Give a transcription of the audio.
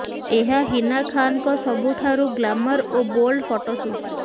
ଏହା ହିନା ଖାନଙ୍କ ସବୁଠାରୁ ଗ୍ଲାମର ଓ ବୋଲ୍ଡ ଫଟୋସୁଟ୍